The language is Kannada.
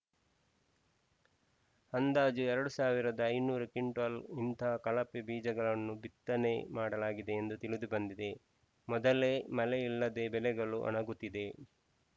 ಅಂದಾಜು ಎರಡ್ ಸಾವಿರದ ಐದುನೂರು ಕ್ವಿಂಟಲ್‌ ಇಂತಹ ಕಳಪೆ ಬೀಜಗಳನ್ನು ಬಿತ್ತನೆ ಮಾಡಲಾಗಿದೆ ಎಂದು ತಿಳಿದುಬಂದಿದೆ ಮೊದಲೇ ಮಳೆ ಇಲ್ಲದೆ ಬೆಳೆಗಳು ಒಣಗುತ್ತಿದೆ